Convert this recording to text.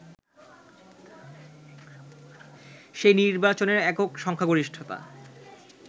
সেই নির্বাচনে একক সংখ্যাগরিষ্ঠতা